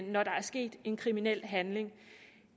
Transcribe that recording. når der er sket en kriminel handling